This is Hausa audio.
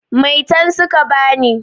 Maitan su ka ba ni.